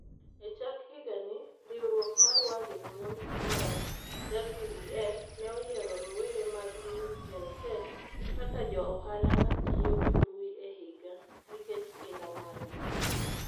E chak higani, riwruok mar World Economic Forum (WEF) ne oyiero rowere mag Mikkelsen kaka jo ohala ma tiyo gi mbui e higa, nikech kinda margi.